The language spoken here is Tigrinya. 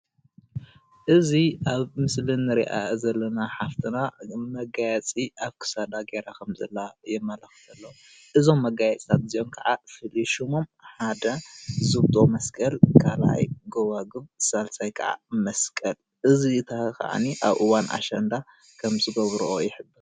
እዚ አብ ምስሊ ንሪአ ዘለና ሓፍትና መጋየፂ አብ ክሳዳ ገይራ ከም ዘላ የመላኽተና እዞም መጋየፂታት እዚኦም ከዓ ሽሞም ሓደ ዝብጦ መስቀል ካልአይ ጎቧጉብ ሳልሳይ ከዓ መስቀል እዚታ ከአኒ አብ እዋን አሽንዳ ከም ዝገብሮኦ ይሕበር።